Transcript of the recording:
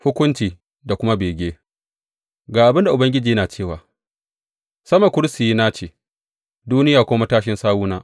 Hukunci da kuma bege Ga abin da Ubangiji yana cewa, Sama kursiyina ce, duniya kuma matashin sawuna.